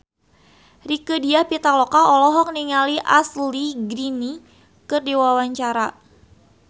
Rieke Diah Pitaloka olohok ningali Ashley Greene keur diwawancara